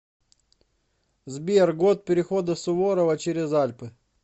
сбер год перехода суворова через альпы